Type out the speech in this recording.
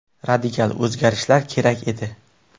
Radikal o‘zgarishlar kerak edi.